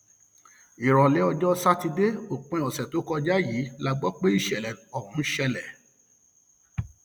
ìrọlẹ ọjọ sátidé òpin ọsẹ tó kọjá yìí la gbọ pé ìṣẹlẹ ọhún ṣẹlẹ